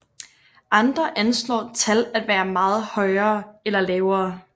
Andre anslår tal at være meget højere eller lavere